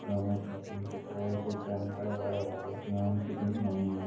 दोनों तरफ उनके पेड़ दिख रहे हैं बड़े-बड़े